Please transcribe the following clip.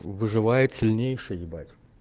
выживает сильнейший ебать